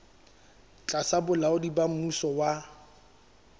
tlasa bolaodi ba mmuso wa